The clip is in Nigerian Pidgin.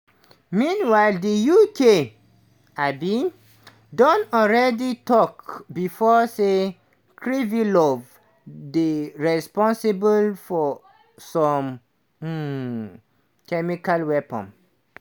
meanwhile di uk um don alreadi tok bifor say kirilov dey responsible for some um chemical weapons.